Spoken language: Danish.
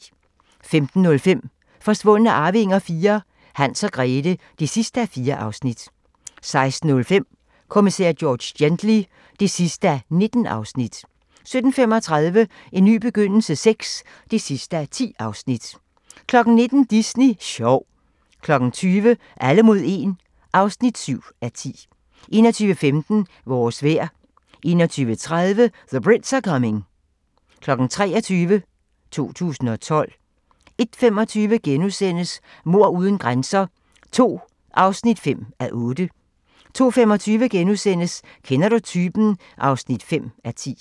15:05: Forsvundne arvinger IV: Hans og Grethe (4:4) 16:05: Kommissær George Gently (19:19) 17:35: En ny begyndelse VI (10:10) 19:00: Disney sjov 20:00: Alle mod 1 (7:10) 21:15: Vores vejr 21:30: The Brits are coming 23:00: 2012 01:25: Mord uden grænser II (5:8)* 02:25: Kender du typen? (5:10)*